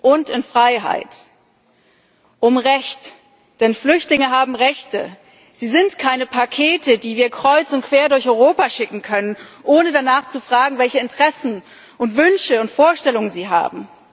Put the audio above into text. und in Freiheit. Um Recht, denn Flüchtlinge haben Rechte, sie sind keine Pakete, die wir kreuz und quer durch Europa schicken können, ohne danach zu fragen, welche Interessen und Wünsche und Vorstellungen sie haben.